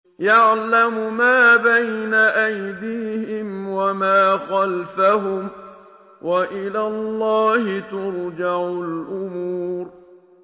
يَعْلَمُ مَا بَيْنَ أَيْدِيهِمْ وَمَا خَلْفَهُمْ ۗ وَإِلَى اللَّهِ تُرْجَعُ الْأُمُورُ